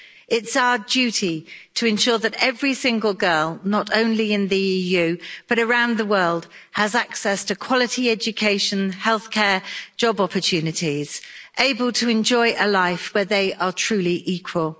It's our duty to ensure that every single girl not only in the EU, but around the world has access to quality education, healthcare and job opportunities, and is able to enjoy a life where they are truly equal.